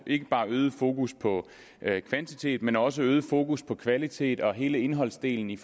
ikke bare et øget fokus på kvantitet men også øget fokus på kvalitet og hele indholdsdelen i